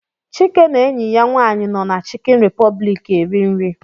Chike na enyi ya nwaanyị nọ na Chicken Republic eri nri.